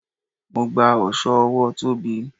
Mo gba oso ọwọ Tóbi.